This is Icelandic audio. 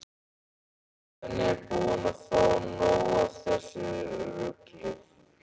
Svenni er búinn að fá nóg af þessu rugli.